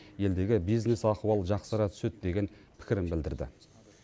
елдегі бизнес ахуал жақсара түседі деген пікірін білдірді